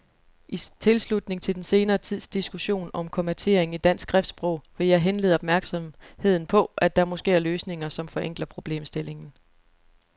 I tilslutning til den senere tids diskussion om kommatering i dansk skriftsprog vil jeg henlede opmærksomheden på, at der måske er løsninger, som forenkler problemstillingen.